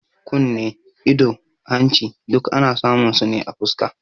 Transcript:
Kunne, ido, da hanci duk ana samun su ne a fuska